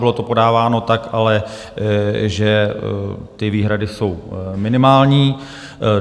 Bylo to podáváno ale tak, že ty výhrady jsou minimální.